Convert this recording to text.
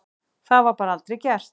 Það bara var aldrei gert.